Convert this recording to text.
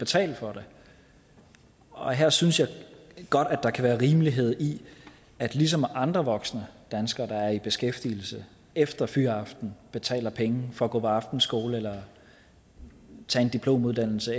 betale for det og her synes jeg godt at der kan være rimelighed i at ligesom andre voksne danskere der er i beskæftigelse efter fyraften betaler penge for at gå på aftenskole eller tage en diplomuddannelse